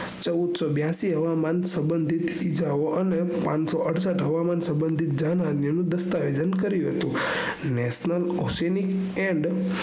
ચૌદસૌ બ્યાસી હવામાન સબંઘીત ઇજાઓ અને પાંચસો અડસઠ હવામાન સબંઘીત દસ્તાવેજન કર્યું હતું national osenice and